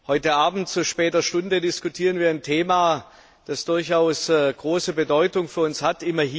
Heute Abend zu später Stunde diskutieren wir ein Thema, das durchaus große Bedeutung für uns hat.